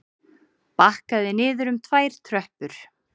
Bakkaði niður um tvær tröppur.